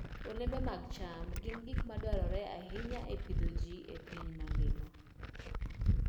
Olembe mag cham gin gik madwarore ahinya e pidho ji e piny mangima.